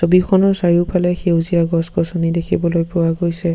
ছবিখনৰ চাৰিওফালে সেউজীয়া গছ-গছনি দেখিবলৈ পোৱা গৈছে।